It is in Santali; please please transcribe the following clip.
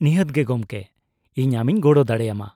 -ᱱᱤᱦᱟᱹᱛ ᱜᱮ ᱜᱚᱢᱠᱮ , ᱤᱧ ᱟᱢᱤᱧ ᱜᱚᱲᱚ ᱫᱟᱲᱮᱭᱟᱢᱟ ᱾